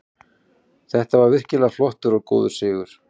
Þetta var virkilega flottur og góður sigur.